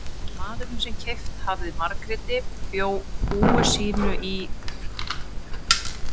Maðurinn sem keypt hafði Margréti bjó búi sínu í hrjóstrugu hlíðardragi við jaðar bæjarins.